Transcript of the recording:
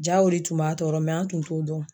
Jaa o le tun b'a tɔɔrɔ mɛ an tun t'o dɔn o